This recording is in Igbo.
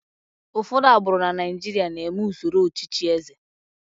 ụfọdụ agbụrụ na Naijiria na-eme usoro ọchịchị eze